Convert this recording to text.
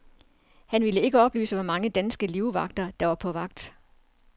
Han vil ikke oplyse, hvor mange danske livvagter, der er på vagt.